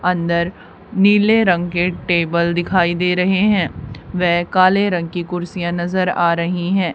अंदर नीले रंग के टेबल दिखाई दे रहे हैं वे काले रंग की कुर्सियां नजर आ रही हैं।